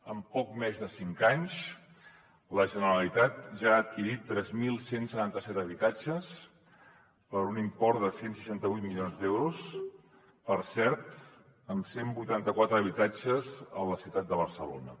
en poc més de cinc anys la generalitat ja ha adquirit tres mil cent i setanta set habitatges per un import de cent i seixanta vuit milions d’euros per cert amb cent i vuitanta quatre habitatges a la ciutat de barcelona